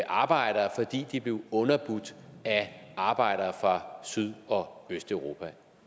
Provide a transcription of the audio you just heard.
arbejdere fordi de blev underbudt af arbejdere fra syd og østeuropa